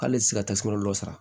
K'ale ti se ka ta tasuma dɔ sara